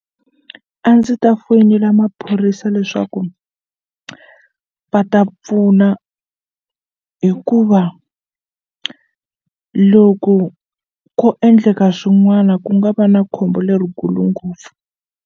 A ndzi ta foyinela maphorisa leswaku va ta pfuna hikuva loko ko endleka swin'wana ku nga va na khombo lerikulu ngopfu.